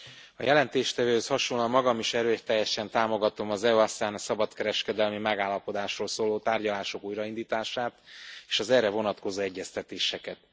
Elnök Asszony! A jelentéstevőhöz hasonlóan magam is erőteljesen támogatom az EU ASEAN szabadkereskedelmi megállapodásról szóló tárgyalások újraindítását, és az erre vonatkozó egyeztetéseket.